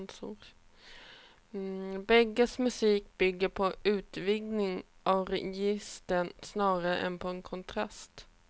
Bägges musik bygger på utvidgning av registren snarare än på kontraster.